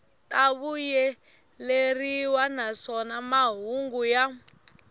ta vuyeleriwa naswona mahungu ya